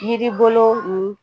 Jiribolo nin